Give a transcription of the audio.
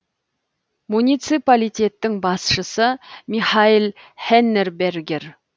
муниципалитеттің басшысы михаэль хеннебергер